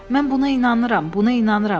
Mən buna inanıram, buna inanıram.